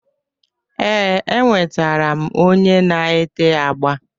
Ee, e nwetere m onye na-ete agba.